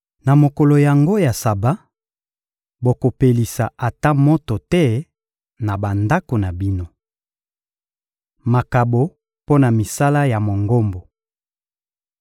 Na mokolo yango ya Saba, bokopelisa ata moto te na bandako na bino.» Makabo mpo na misala ya Mongombo